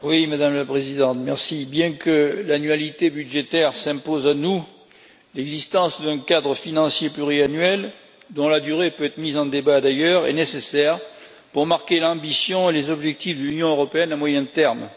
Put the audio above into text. Madame la Présidente, bien que l'annualité budgétaire s'impose à nous, l'existence d'un cadre financier pluriannuel, dont la durée peut être mise en débat, d'ailleurs, est nécessaire pour marquer l'ambition et les objectifs de l'Union européenne à moyen terme.